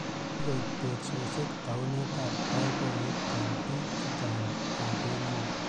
Kikoek teksosiet taunet ab boiboyet eng bik che chang ab emoni